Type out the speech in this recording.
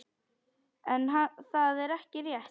En það er ekki rétt.